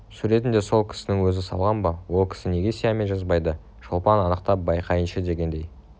суретін де сол кісінің өзі салған ба ол кісі неге сиямен жазбайды шолпан анықтап байқайыншы дегендей